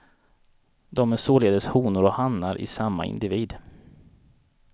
De är således honor och hanar i samma individ.